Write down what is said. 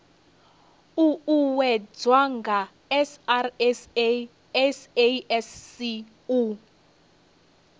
uuwedzwa nga srsa sasc u